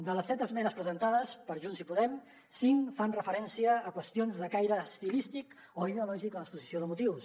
de les set esmenes presentades per junts i podem cinc fan referència a qüestions de caire estilístic o ideològic a l’exposició de motius